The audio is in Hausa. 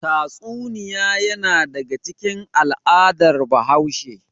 Tatsuniya yana daga cikin al'adar Hausa.